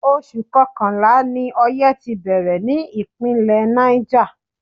Oṣù Kọkànlá ni oye ti bẹ̀rẹ̀ ní Ìpínlẹ̀ Niger.